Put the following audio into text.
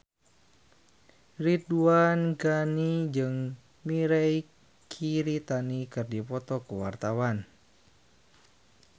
Ridwan Ghani jeung Mirei Kiritani keur dipoto ku wartawan